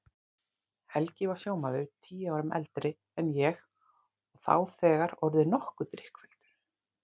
Helgi var sjómaður, tíu árum eldri en ég og þá þegar orðinn nokkuð drykkfelldur.